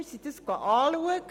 Wir haben es besichtigt.